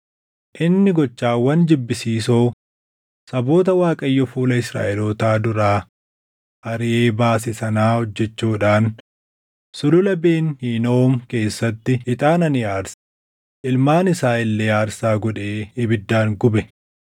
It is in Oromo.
Inni gochawwan jibbisiisoo saboota Waaqayyo fuula Israaʼelootaa duraa ariʼee baase sanaa hojjechuudhaan Sulula Ben Hinoom keessatti ixaana ni aarse; ilmaan isaa illee aarsaa godhee ibiddaan gube.